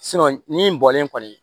ni bɔlen kɔni